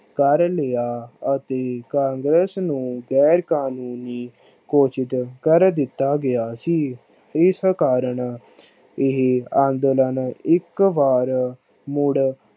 ਕਰ ਲਿਆ ਅਤੇ ਕਾਂਗਰਸ ਨੂੰ ਗੈਰ ਕਾਨੂੰਨੀ ਘੋਸ਼ਿਤ ਕਰ ਦਿਤਾ ਗਿਆ ਸੀ। ਇਸ ਕਾਰਨ ਇਹ ਅੰਦੋਲਨ ਇਕ ਵਾਰ ਮੁੜ